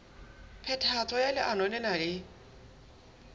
phethahatso ya leano lena e